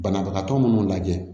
Banabagatɔ minnu lajɛ